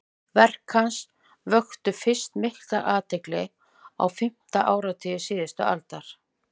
verk hans vöktu fyrst mikla athygli á fimmta áratug síðustu aldar